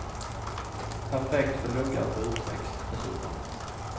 Perfekt för luggar på utväxt, dessutom.